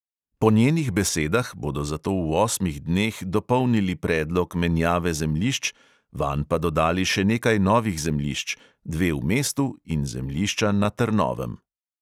Po njenih besedah bodo zato v osmih dneh dopolnili predlog menjave zemljišč, vanj pa dodali še nekaj novih zemljišč, dve v mestu in zemljišča na trnovem.